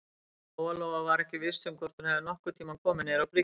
Lóa-Lóa var ekki viss hvort hún hefði nokkurn tíma komið niður á bryggju.